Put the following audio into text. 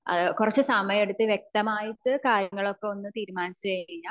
കുറച്ച സമായൊക്കെ എടുത്ത് വ്യക്തമായിട്ട് കാര്യങ്ങളൊക്കെ ഒന്ന് തീരുമാനിച്ച കഴിഞ്ഞ